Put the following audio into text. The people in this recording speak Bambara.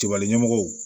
Kibalemɔgɔw